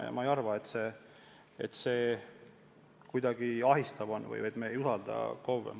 Ja ma ei arva, et see kuidagi ahistav on või et me ei usalda KOV-e.